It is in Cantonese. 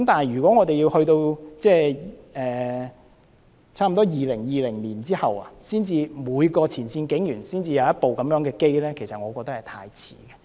如果要等到差不多2020年後，每名前線警員才能有一部隨身攝錄機，我認為太遲。